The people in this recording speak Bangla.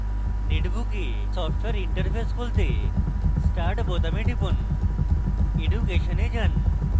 netbook এ সফ্টওয়্যার interface খুলতেstart বোতামে টিপুন>> education এ যান